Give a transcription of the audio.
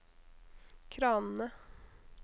kranene